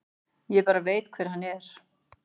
Ég bara veit hver hann er.